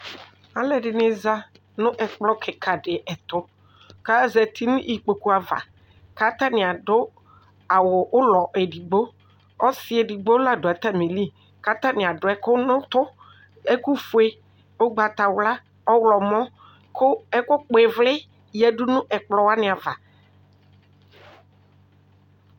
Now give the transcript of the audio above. Alʋ ɛdini zanʋ ɛkplɔ kika di ɛtʋ kʋ azeti nʋ ikpokʋ ava kʋ atani adʋ awʋ ʋlɔ edigbo ɔsi edigbo ladʋ atami iili kʋ atani adʋ ɛkʋ nʋ ʋtʋ ɛkʋfue ʋgbatawla ɔwlɔmɔ kʋ ɛkʋkpɔ ivli yadʋnʋ ɛkplɔ wani ava